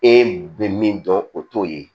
E bɛ min dɔn o t'o ye